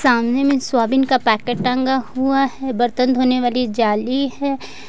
सामने में सोयाबीन का पैकेट टंगा हुआ है बर्तन धोने वाली जाली है।